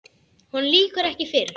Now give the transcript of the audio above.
Honum lýkur ekki fyrr.